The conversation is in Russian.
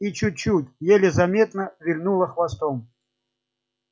и чуть-чуть еле заметно вильнула хвостом